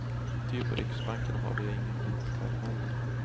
Ty på riksbanken har de inga mintkarameller.